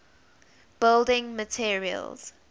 building materials